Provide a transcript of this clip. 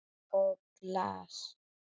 Og glas.